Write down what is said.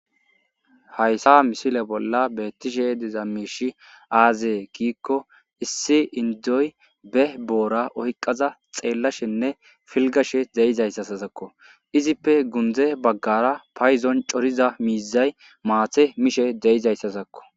Hayisa missile bola diza mishi aze gikko issi indoy ba bora oyikaza xelashene filigashe deizayisakko izippe pude bagara payidon coriza mizay mate mishe dizayizayisakko.